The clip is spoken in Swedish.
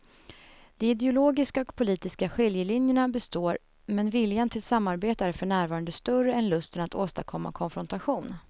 De ideologiska och politiska skiljelinjerna består men viljan till samarbete är för närvarande större än lusten att åstadkomma konfrontation.